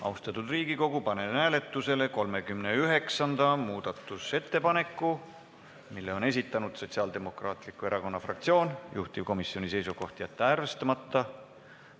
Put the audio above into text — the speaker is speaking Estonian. Austatud Riigikogu, panen hääletusele 39. muudatusettepaneku, mille on esitanud Sotsiaaldemokraatliku Erakonna fraktsioon, juhtivkomisjoni seisukoht: jätta see arvestamata.